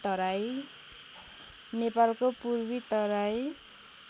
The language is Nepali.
नेपालको पूर्वी तराई